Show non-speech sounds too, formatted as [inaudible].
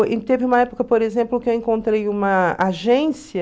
[unintelligible] Teve uma época, por exemplo, que eu encontrei uma agência